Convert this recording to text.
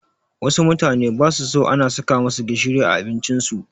Wassu mutane basu so ana saka masu gishiri a abincin su